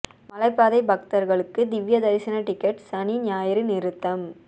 மலைப்பாதை பக்தர்களுக்கு திவ்ய தரிசன டிக்கெட் சனி ஞாயிறு நிறுத்தம்